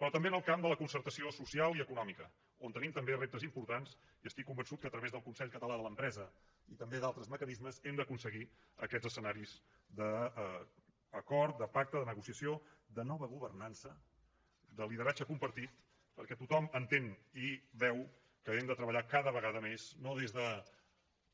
però també en el camp de la concertació social i econòmica en què tenim també reptes importants i estic convençut que a través del consell català de l’empresa i també d’altres mecanismes hem d’aconseguir aquests escenaris d’acord de pacte de negociació de nova governança de lideratge compartit perquè tothom entén i veu que hem de treballar cada vegada més no des de